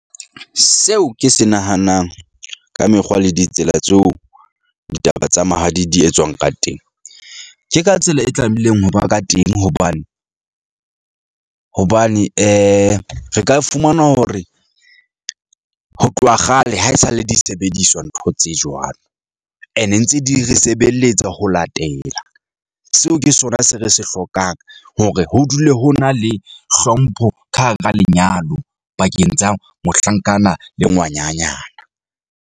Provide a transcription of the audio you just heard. Seo ke se nahanang ka mekgwa le ditsela tseo ditaba tsa mahadi di etswang ka teng. Ke ka tsela e tlamehileng hoba ka teng hobane hobane re ka fumana hore ho tloha kgale haesale disebediswa, ntho tse jwalo ene ntse di re sebeletsa ho latela. Seo ke sona se re se hlokang hore ho dule ho na le hlompho ka hara lenyalo pakeng tsa mohlankana le ngwananyana.